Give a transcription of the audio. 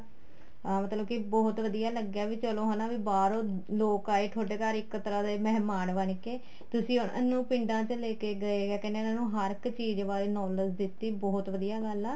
ਅਹ ਮਤਲਬ ਕੇ ਬਹੁਤ ਵਧੀਆ ਲੱਗਿਆ ਵੀ ਚਲੋ ਹੈਨਾ ਵੀ ਬਾਹਰੋ ਲੋਕ ਆਏ ਤੁਹਾਡੇ ਘਰ ਇੱਕ ਤਰ੍ਹਾਂ ਦੇ ਮਿਹਮਾਨ ਬਣਕੇ ਤੁਸੀਂ ਉਹਨਾ ਨੂੰ ਪਿੰਡਾਂ ਚ ਲੈਕੇ ਗਏ ਜਾਂ ਕਹਿਣੇ ਹਾਂ ਹਰ ਇੱਕ ਚੀਜ਼ ਬਾਰੇ knowledge ਦਿੱਤੀ ਬਹੁਤ ਵਧੀਆ ਗੱਲ ਆ